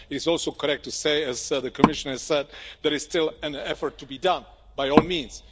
It is also correct to say, as the Commissioner has said, that there is still an effort to be done, by all means.